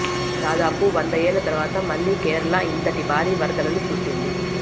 దాదాపు వంద ఏళ్ల తర్వాత మళ్లీ కేరళ ఇంతటి భారీ వరదలను చూసింది